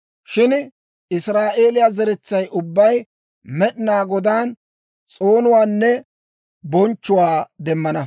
Shin Israa'eeliyaa zeretsay ubbay Med'inaa Godaan, s'oonuwaanne bonchchuwaa demmana.